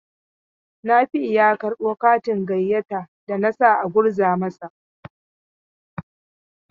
Nafi'u ya karɓo katin gayyata da na sa a gurza masa.